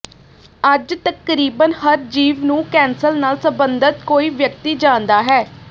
ਅੱਜ ਤਕਰੀਬਨ ਹਰ ਜੀਵ ਨੂੰ ਕੈਂਸਰ ਨਾਲ ਸੰਬੰਧਤ ਕੋਈ ਵਿਅਕਤੀ ਜਾਣਦਾ ਹੈ